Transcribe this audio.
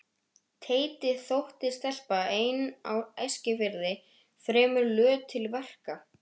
Teiti þótti stelpa ein á Eskifirði fremur löt til verka.